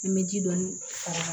Ni n bɛ ji dɔɔnin faga